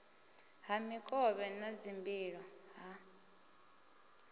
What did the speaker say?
ha mikovhe na dzimbilo ha